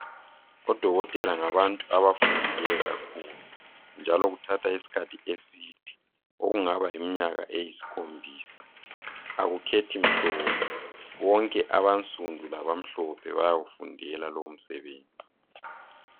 Odokotela ngabantu abafundileyo njalo kuthatha isikhathi eside okungaba yiminyaka eyisikhombisa. Akukhethi mhlobo bonke abansundu labamhlophe bayawufundela lowo msebenzi.